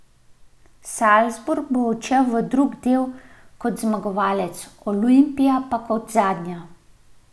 Salzburg bo odšel v drugi del kot zmagovalec, Olimpija pa kot zadnja.